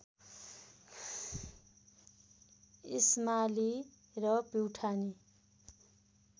इस्माली र प्युठानी